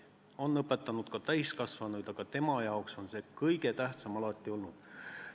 On õpetanud ka täiskasvanuid, aga tema jaoks on laste õpetamine alati kõige tähtsam olnud.